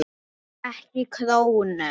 Ekki krónu!